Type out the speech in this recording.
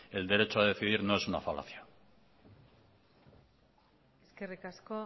el derecho a decidir no es una falacia eskerrik asko